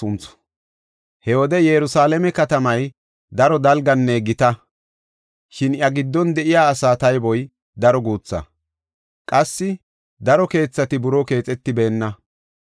He wode Yerusalaame katamay daro dalganne gita; shin iya giddon de7iya asaa tayboy daro guutha; qassi daro keethati buroo keexetibeenna.